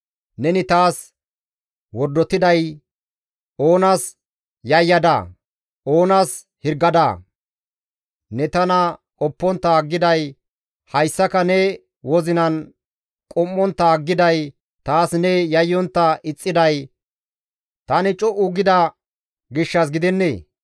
«Neni taas wordotiday, oonas yayyadaa? Oonas hirgadaa? Ne tana qoppontta aggiday, hayssaka ne wozinan qum7ontta aggiday, taas ne yayyontta ixxiday, tani co7u gida gishshas gidennee?